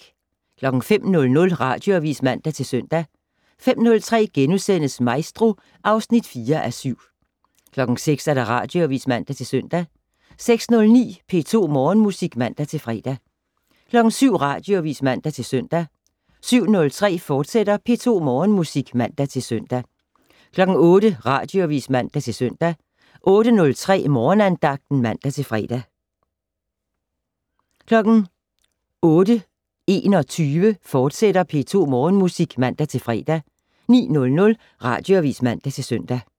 05:00: Radioavis (man-søn) 05:03: Maestro (4:7)* 06:00: Radioavis (man-søn) 06:09: P2 Morgenmusik (man-fre) 07:00: Radioavis (man-søn) 07:03: P2 Morgenmusik, fortsat (man-søn) 08:00: Radioavis (man-søn) 08:03: Morgenandagten (man-fre) 08:21: P2 Morgenmusik, fortsat (man-fre) 09:00: Radioavis (man-søn)